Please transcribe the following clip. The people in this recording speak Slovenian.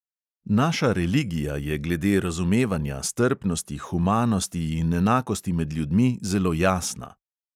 Naša religija je glede razumevanja, strpnosti, humanosti in enakosti med ljudmi zelo jasna.